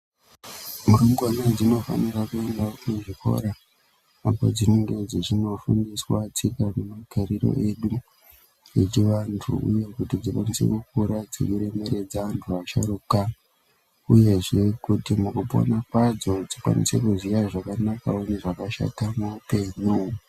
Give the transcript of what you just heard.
Mangwana dzinofanira kuendawo kuzvikora apo dzinenge dzichinofundiswa tsika nemagariro edu echivantu nekuti dzikwanise kukura dzeiremeredza antu asharuka uyezve kuti mukupona kwadzo dzikwanisewo kuziya zvakanakawo nezvakashata muupenyu.